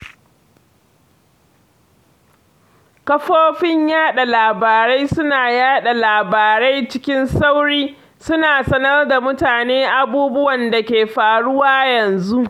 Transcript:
Kafofin yaɗa labarai suna yaɗa labarai cikin sauri, suna sanar da mutane abubuwan da ke faruwa yanzu.